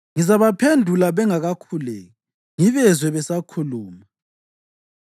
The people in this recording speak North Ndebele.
Ngizabaphendula bengakakhuleki; ngibezwe besakhuluma.